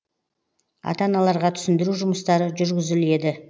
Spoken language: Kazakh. ата аналарға түсіндіру жұмыстары жүргізіледі